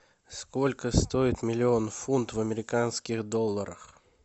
сколько стоит миллион фунтов в американских долларах